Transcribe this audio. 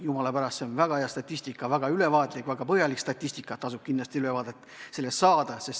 Jumala eest, see on väga hea statistika, väga ülevaatlik, väga põhjalik statistika ja kindlasti tasub ülevaade sellest saada.